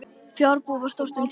Fjárbú var þar stórt um tíma.